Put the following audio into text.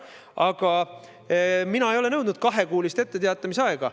Aga mina ei ole nõudnud kahekuulist etteteatamisaega.